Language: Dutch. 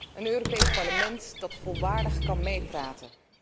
Een Europees Parlement dat volwaardig kan meepraten.